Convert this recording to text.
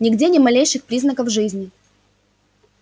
нигде ни малейших признаков жизни